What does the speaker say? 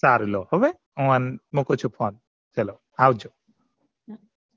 સારું લો તો બસ phone મુકું શું phone